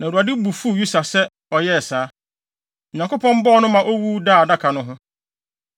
Na Awurade bo fuw Usa sɛ ɔyɛɛ saa, na Onyankopɔn bɔɔ no ma owu daa adaka no ho.